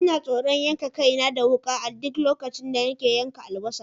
Ina tsoron yanka kaina da wuka a duk lokacin da nake yanka albasa.